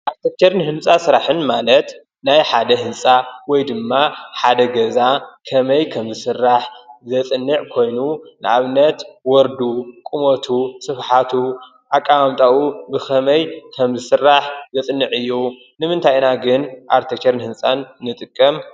ኣርክቴክቸርን ህንፃ ስራሕን ማለት ንሓደ ህንፃ ንምስራሕ ትውፀኦ ኣሰራርሓ መልክዕ፣ ዘድልዮ ኣቑሑ ወዘተ።